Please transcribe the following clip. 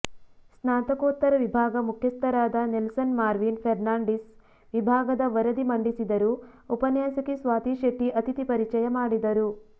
ಸ್ನಾತಕೋತ್ತರ ವಿಭಾಗ ಮುಖ್ಯಸ್ಥರಾದ ನೆಲ್ಸನ್ ಮಾರ್ವಿನ್ ಫೆರ್ನಾಂಡೀಸ್ ವಿಭಾಗದ ವರದಿ ಮಂಡಿಸಿದರು ಉಪನ್ಯಾಸಕಿ ಸ್ವಾತಿ ಶೆಟ್ಟಿ ಅತಿಥಿ ಪರಿಚಯ ಮಾಡಿದರು